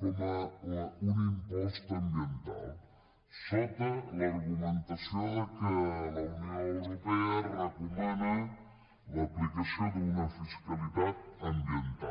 com un impost ambiental sota l’argumentació que la unió europea recomana l’aplicació d’una fiscalitat ambiental